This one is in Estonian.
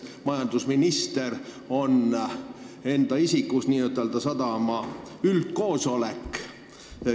Majandusminister on enda isikus ju n-ö sadama üldkoosolek.